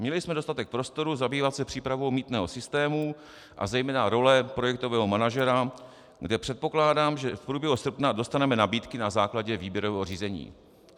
Měli jsme dostatek prostoru zabývat se přípravou mýtného systému a zejména role projektového manažera, kde předpokládám, že v průběhu srpna dostaneme nabídky na základě výběrového řízení.